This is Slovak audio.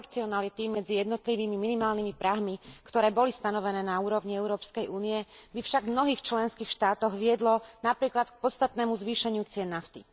proporcionality medzi jednotlivými minimálnymi prahmi, ktoré boli stanovené na úrovni Európskej únie, by však v mnohých členských štátoch viedlo napríklad k podstatnému zvýšeniu cien nafty.